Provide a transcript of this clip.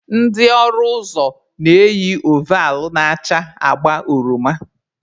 Ndị ọrụ ụzọ na-eyi ovall na-acha agba oroma.